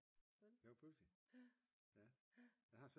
Det var pudsigt